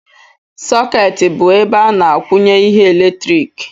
Sokeeti bụ ebe a na-akwụnye ihe eletrik